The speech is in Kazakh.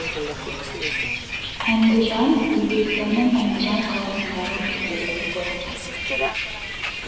әндіжан өзбекстанның әндіжан қаласындағы футбол клубы